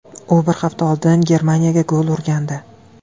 U bir hafta oldin Germaniyaga gol urgandi .